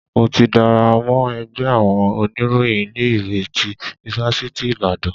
Mo ti darapọ̀ mọ́ ẹgbẹ́ àwọn oníròyìn ilé ìwé tí ifáfitì Ibadan.